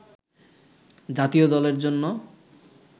জাতীয় দলের জন্য